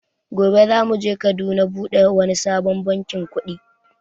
Gobe za muje Kaduna buɗe wani sabon bankin kuɗi